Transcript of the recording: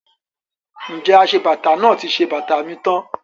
Ǹjẹ́ aṣebàtà náà ti ṣe bàtà mi tán?